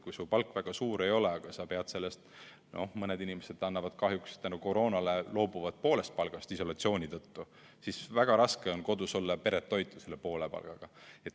Kui su palk väga suur ei ole, aga sa pead nii nagu mõned inimesed kahjuks koroona pärast loobuma poolest palgast isolatsiooni tõttu, siis väga raske on kodus olla ja peret toita selle poole palgaga.